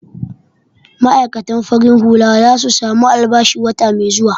Ma'aikatan farin hula za su samu albashi wata mai zuwa.